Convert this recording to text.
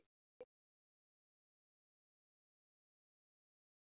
Mér verður ekki að ósk minni.